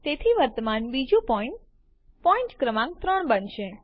તેથી વર્તમાન બીજું પોઈન્ટ પોઈન્ટ ક્રમાંક ૩ બનશે